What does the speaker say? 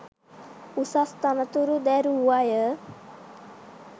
උසස් තනතුරු දැරූ අය